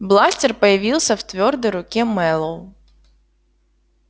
бластер появился в твёрдой руке мэллоу